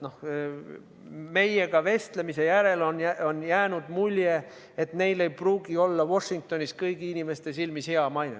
Noh, meiega vestlemise järel on jäänud mulje, et neil ei pruugi olla Washingtonis kõigi inimeste silmis hea maine.